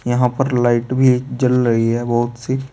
यहां पर लाइट भी जल रही है बहोत सी।